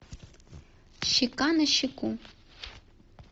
щека на щеку